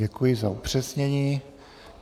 Děkuji za upřesnění.